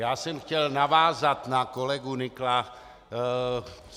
Já jsem chtěl navázat na kolegu Nykla.